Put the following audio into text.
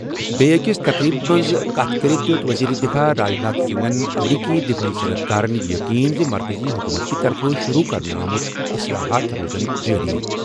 بیٛکہِ أکِس تقریٖبَس منٛز کَتھ کٔرِتھ دِیٚتھ وزیرِ دِفاع راجناتھ سنگھَن امریکی دِفٲعی صنعت کارَن یقین زِ مرکٔزی حکوٗمتٕکہِ طرفہٕ شُروٗع کرنہٕ آمُت اصلاحات روزن جاری۔